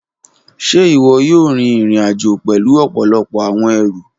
Ṣe iwọ yoo rin irin-ajo pẹlu ọpọlọpọ awọn ẹru?